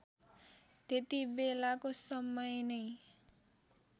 त्यतिबेलाको समय नै